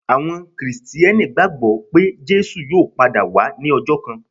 Àwọn Kìrìsìtíẹ́nì gbagbọ pe Jesu yóò pada wa ni ọjọ kan.